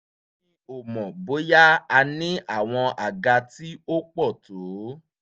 mi ò mọ̀ bóyá a ní àwọn àga tí ó pọ̀ tó